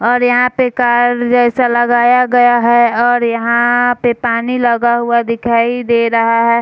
और यहाँ पे कार जैसा लगाया गया है और यहाँ पे पानी लगा हुआ दिखाई दे रहा है।